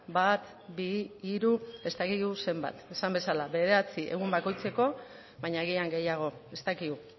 bat bi hiru ez dakigu zenbat esan bezala bederatzi egun bakoitzeko baina agian gehiago ez dakigu